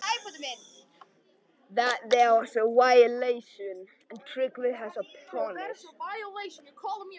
Hún svarar okkur út og suður og fylgir engum leiðum, ekki einu sinni ótroðnustu slóðum.